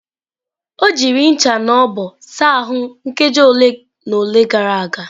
O jiri ncha na ogbo saa ahụ nkeji ole na ole gara aga.